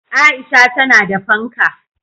Aisha tana da fanka